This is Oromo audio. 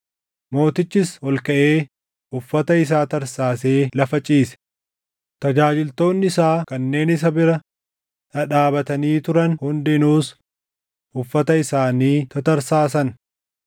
Mootichis ol kaʼee uffata isaa tarsaasee lafa ciise; tajaajiltoonni isaa kanneen isa bira dhadhaabatanii turan hundinuus uffata isaanii tatarsaasan.